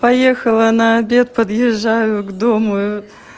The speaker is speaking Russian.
поехала на обед подъезжаю к дому